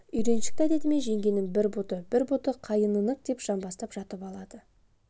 үйреншікті әдетімен жеңгенің бір бұты бір бұты қайынынык деп жамбастап жатып алады